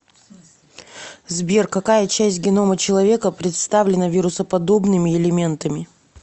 сбер какая часть генома человека представлена вирусоподобными элементами